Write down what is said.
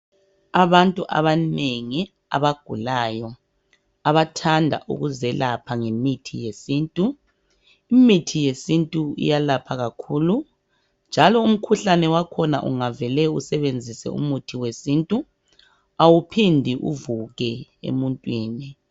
Abantu abanengi abagulayo abathanda ukuzelapha ngemithi yesintu. Imithi yesintu iyalapha kakhulu njalo umkhuhlane wakhona ungavele usebenzise umuthi wesintu awuphindi uvuke emuntwini.